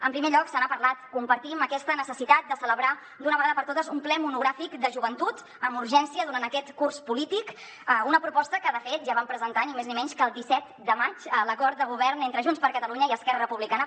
en primer lloc se n’ha parlat compartim aquesta necessitat de celebrar d’una vegada per totes un ple monogràfic de joventut amb urgència durant aquest curs polític una proposta que de fet ja vam presentar ni més ni menys que el disset de maig a l’acord de govern entre junts per catalunya i esquerra republicana